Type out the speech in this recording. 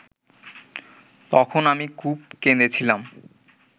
তখন আমি খুব কেঁদেছিলাম